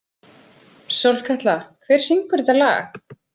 Sólkatla, hver syngur þetta lag?